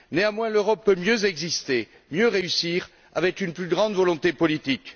Néanmoins, l'Europe peut mieux exister, mieux réussir, avec une plus grande volonté politique.